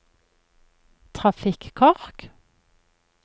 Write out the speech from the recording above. trafikkork